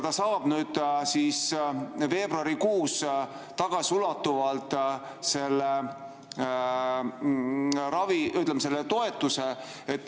Ta saab veebruarikuus tagasiulatuvalt, ütleme, selle toetuse.